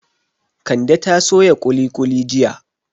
Kande ta soya kuli kuli jiya